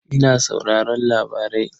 Ina sauraron labarai.